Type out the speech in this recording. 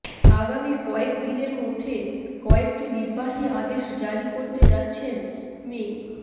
আগামী কয়েকদিনের মধ্যে কয়েকটি নির্বাহী আদেশ জারি করতে যাচ্ছেন মি